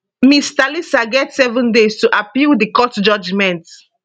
ms thalisa get seven days to appeal di court judgement